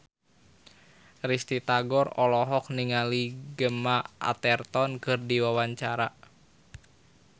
Risty Tagor olohok ningali Gemma Arterton keur diwawancara